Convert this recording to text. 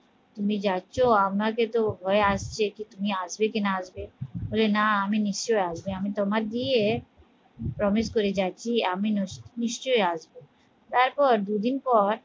তুমি যাচ্ছ আমাকে তো ভয় আসছে কি তুমি আসবে কি না আসবে বলে না আমি নিশ্চয়ই আসবো আমি তোমার বিয়ে promise করে যাচ্ছি আমি নস নিশ্চয়ই আসবো তারপর দুদিন পর